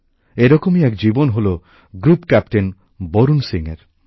এরকমই এক জীবন হলো গ্রুপ ক্যাপ্টেন বরুণ সিংএর